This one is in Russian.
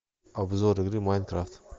обзор игры майнкрафт